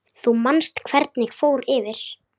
Þú manst hvernig fór fyrir